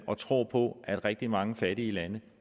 og tror på at rigtig mange fattige lande